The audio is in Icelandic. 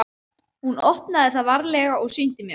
Hún opnaði það varlega og sýndi mér.